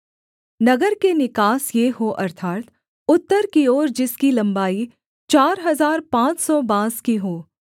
नगर के निकास ये हों अर्थात् उत्तर की ओर जिसकी लम्बाई चार हजार पाँच सौ बाँस की हो